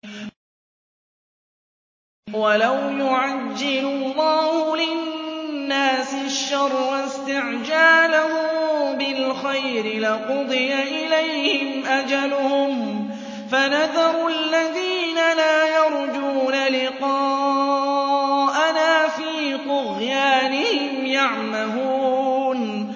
۞ وَلَوْ يُعَجِّلُ اللَّهُ لِلنَّاسِ الشَّرَّ اسْتِعْجَالَهُم بِالْخَيْرِ لَقُضِيَ إِلَيْهِمْ أَجَلُهُمْ ۖ فَنَذَرُ الَّذِينَ لَا يَرْجُونَ لِقَاءَنَا فِي طُغْيَانِهِمْ يَعْمَهُونَ